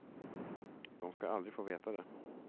De ska aldrig få veta det.